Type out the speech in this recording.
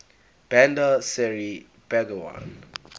bandar seri begawan